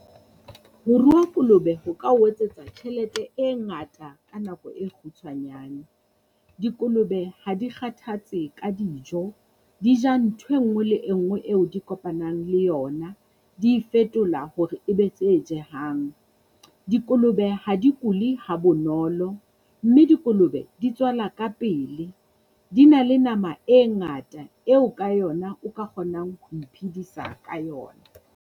Ho rua kolobe ho ka ho etsetsa tjhelete e ngata ka nako e kgutshwanyane. Dikolobe ha di kgathatse ka dijo, di ja nthwe ngwe le e ngwe eo di kopanang le yona. Di e fetola hore e be tse jehang. Dikolobe ha di kule ha bonolo, mme dikolobe di tswala pele. Di na le nama e ngata eo ka yona o ka kgonang ho iphedisa ka yona.